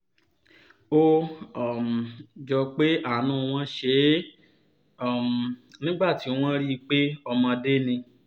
ó um jọ pé àánú wọn ṣe é um nígbà tí wọ́n rí i pé ọmọdé ni